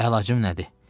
Əlacım nədir?